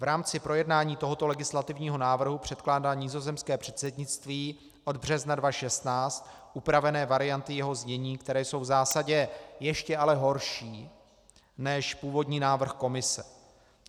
V rámci projednání tohoto legislativního návrhu předkládá nizozemské předsednictví od března 2016 upravené varianty jeho znění, které jsou v zásadě ještě ale horší než původní návrh Komise.